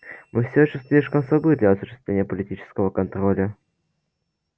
мы все ещё слишком слабы для осуществления политического контроля